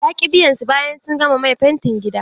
Ya ƙi biyan su bayan sun gama mai fentin gida.